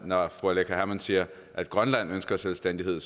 når fru aleqa hammond siger at grønland ønsker selvstændighed